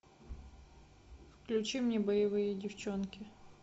включи мне боевые девчонки